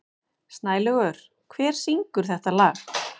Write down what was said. Snælaugur, hver syngur þetta lag?